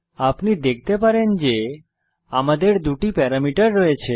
আপনি দেখতে পারেন আমাদের দুটি প্যারামিটার রয়েছে